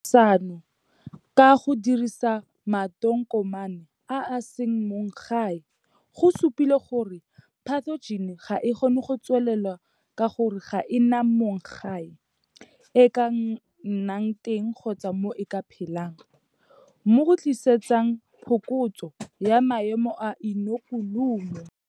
Thefosano ka go dirisa matonkomane, a a seng mong-gae, go supile gore pathojene ga e kgone go tswelela ka gore ga e na mong-gae e e ka nnang teng kgotsa mo e ka phelang, mo go tlisetsang phokotso ya maemo a inokulumo.